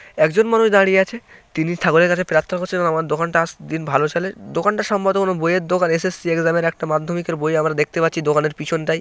একজন মানুষ দাঁড়িয়ে আছে তিনি ঠাকুরের কাছে প্রার্থনা করছে এবং আমার দোকান টা দিন ভালো চলে দোকানটা সম্ভবত কোনো বইয়ের দোকান এস.এস.সি এক্সাম -এর একটা মাধ্যমিকের বই আমরা দেখতে পারছি দোকানের পিছন টাই।